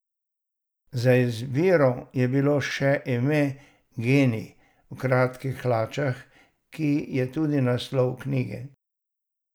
Na izbiro je bilo še ime Genij v kratkih hlačah, ki je tudi naslov knjige.